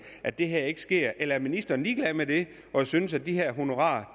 at det her ikke sker eller er ministeren ligeglad med det og synes at de her honorarer